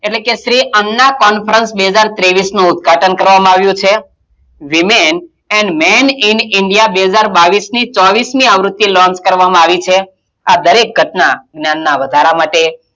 એટલે કે શ્રી અન્ના conference બે હજાર ત્રેવીશનું ઉદ્દગાટન કરવામાં આવ્યું છે woman and men in india બે હજાર બાવીશની ચોવીશમી આવ્રુતિ launch કરવામાં આવી છે આ દરેક ઘટનાં જ્ઞાનનાં વધારા માટે,